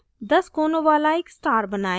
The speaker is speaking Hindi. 10 कोनों वाला एक star बनाएं